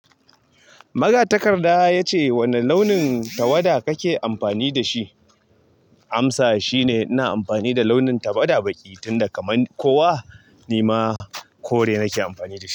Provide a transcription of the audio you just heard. Magatakarda ya ce wane launin tawada kake amfani da shi? Amsa shine ina amfani da launin tawada baƙi tunda kaman kowa nima kore nake amfani da shi.